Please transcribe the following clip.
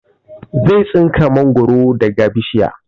Zai tsinka mangoro daga bishiya